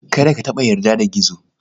Kada ka taɓa yarda da Gizo.